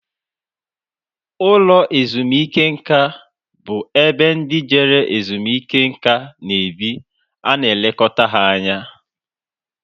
Ụlọ ezumike nká bú ebe ndị Jere ezumike nká na-ebi ana elekota ha anya.